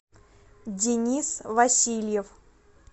денис васильев